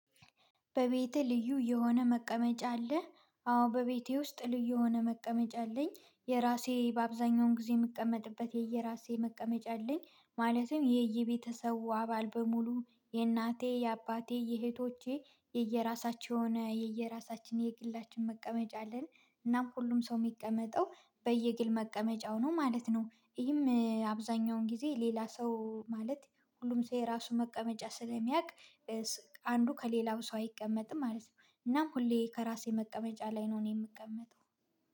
በቤቴ ልዩ የሆነ መቀመጫ አለ? አዎ በቤቴ ውስጥ ልዩ የሆነ መቀመጫ አለኝ። የራሴ በአብዛኛው ጊዜ የምቀመጥበት የየራሴ መቀመጫ አለኝ። ማለትም የየቤተሰቡ አባል በሙሉ የእናቴ፥ የአባቴ፥ የእህቶቼ የየራሳቸው የሆነ የየራሳችን የግላችን መቀመጫ አለን። እናም ሁሉም ሰው የሚቀመጠው በየግል መቀመጫው ነው ማለት ነው። ይህም አብዛኛውን ጊዜ ሌላ ሰው ማለት ሁሉም ሰው የራሱን መቀመጫ ስለሚያቅ አንዱ ከሌላው ሰው አይቀመጥም ማለት ነው። እናም ሁሌ ከራሴ መቀመጫ ላይ ነው እኔ የምቀመጠው።